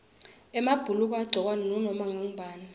emabhuluko angagcokwa ngunoma ngubani